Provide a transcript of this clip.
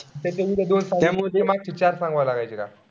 त्याच्यामध्ये दोन त्यामुळे मागचे चार सांगावे लागायचे का?